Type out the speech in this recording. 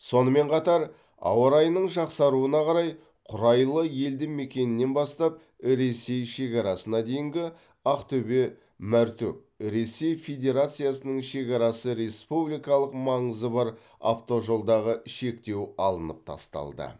сонымен қатар ауа райының жақсаруына қарай құрайлы елдімекенінен бастап ресей шекарасына дейінгі ақтөбе мәртөк ресей федерациясының шекарасы республикалық маңызы бар автожолдағы шектеу алынып тасталды